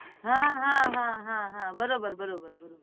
હા હા હા હા બરોબર બરોબર બરોબર